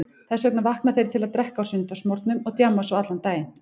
Þess vegna vakna þeir til að drekka á sunnudagsmorgnum og djamma svo allan daginn.